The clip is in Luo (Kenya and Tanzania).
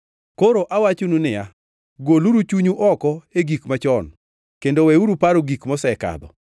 Koro awachonu niya, “Goluru chunyu oko e gik machon kendo weuru paro gik mosekadho.